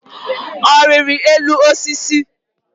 Ọ riri elu osisi?